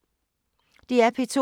DR P2